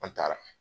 An taara